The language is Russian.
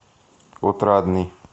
отрадный